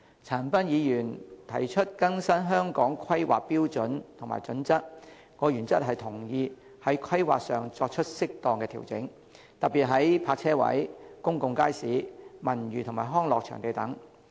陳恒鑌議員提出更新《香港規劃標準與準則》，我原則上同意在規劃上作出適當調整，特別是泊車位、公眾街市、文娛及康樂場地等。